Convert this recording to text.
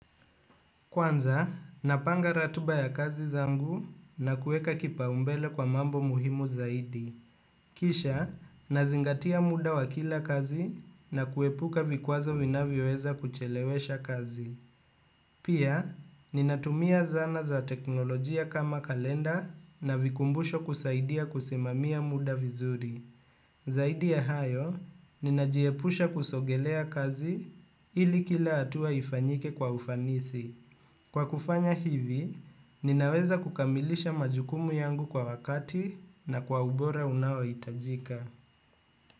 Kwanza, napanga ratiba ya kazi zangu na kuweka kipaumbele kwa mambo muhimu zaidi. Kisha, nazingatia muda wa kila kazi na kuepuka vikwazo vinavyoweza kuchelewesha kazi. Pia, ninatumia zana za teknolojia kama kalenda na vikumbusho kusaidia kusimamia muda vizuri. Zaidi ya hayo, ninajiepusha kusogelea kazi ili kila hatua ifanyike kwa ufanisi. Kwa kufanya hivi, ninaweza kukamilisha majukumu yangu kwa wakati na kwa ubora unaohitajika.